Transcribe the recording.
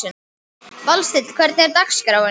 Valsteinn, hvernig er dagskráin?